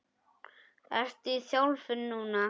Ertu í þjálfun núna?